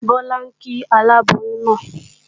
Bọ́lá ń kí aláboyún náà